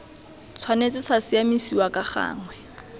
tshwanetse sa siamisiwa ka gangwe